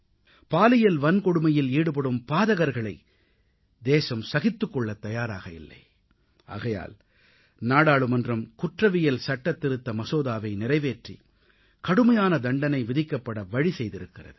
பாலியல் வன்கொடுமையில் ஈடுபடும் பாதகர்களை தேசம் சகித்துக் கொள்ளத் தயாராக இல்லை ஆகையால் நாடாளுமன்றம் குற்றவியல் சட்டத் திருத்த மசோதாவை நிறைவேற்றி கடுமையான தண்டனை விதிக்கப்பட வழி செய்திருக்கிறது